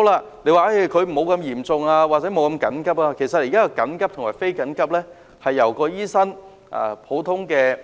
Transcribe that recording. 至於一些沒有這麼嚴重或不緊急的個案——其實現在緊急和非緊急是由普通科醫生決定的